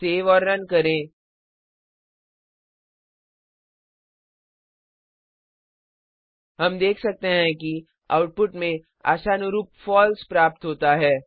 save और run करें हम देख सकते हैं कि आउटपुट में आशानुरूप फॉल्स प्राप्त होता है